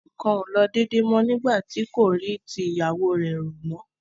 nǹkan kò lọ déédé mọ́ nígbà tí kò rí ti ìyàwó rẹ̀ rò mọ́.